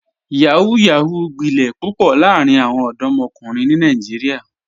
Yahoo yahoo gbilẹ̀ pupọ̀ laarin awọn ọdọmọkunrin ni Nàìjíríà.